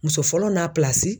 Muso fɔlɔ n'a